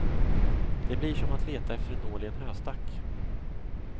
Det blir som att leta efter en nål i en höstack.